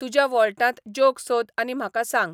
तुज्या वॉल्टांत जॉक सोद आनी म्हाका सांग